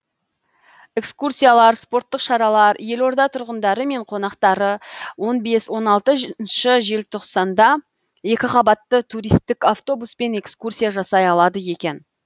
экскурсиялар спорттық шаралар елорда тұрғындары мен қонақтары он бес он алтыншы желтоқсанда екіқабатты туристік автобуспен экскурсия жасай алады